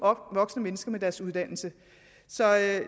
voksne mennesker med deres uddannelse så jeg